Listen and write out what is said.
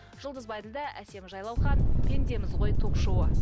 жұлдыз байділдә әсем жайлаухан пендеміз ғой ток шоуы